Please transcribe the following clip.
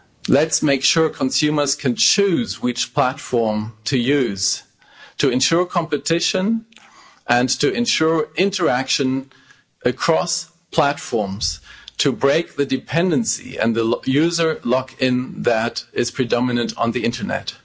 Let's make sure consumers can choose which platform to use to ensure competition and to ensure interaction across platforms, to break the dependency and the user lock-in that is predominant on the internet.